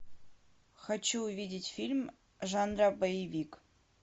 хочу увидеть фильм жанра боевик